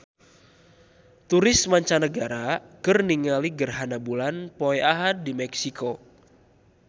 Turis mancanagara keur ningali gerhana bulan poe Ahad di Meksiko